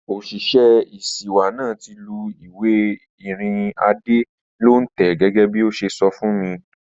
Òṣìṣẹ́ ìṣíwá náà ti lù ìwé ìrìnnà Adé ní òǹtẹ̀ gẹ́gẹ́bí ó ṣe sọ fún mi